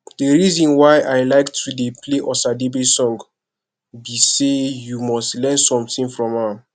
the reason why i like to dey play osadebe song be say you must learn something from am